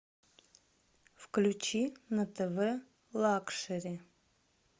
включи на тв лакшери